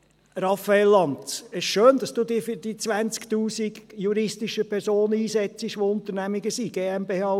Raphael Lanz, es ist schön, dass dudich für die 20’000 juristischen Personen einsetzt, die Unternehmungen sind, GmbHs und AGs.